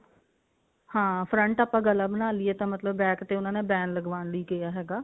ਹਾਂ front ਆਪਾਂ ਗਲਾ ਬਣਾ ਲਈਏ ਤਾਂ ਮਤਲਬ back ਤੇ ਉਹਨਾਂ ਨੇ van ਲਗਵਾਉਣ ਲਈ ਕਿਹਾ ਹੈਗਾ